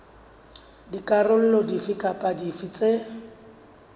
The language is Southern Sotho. dikarolo dife kapa dife tse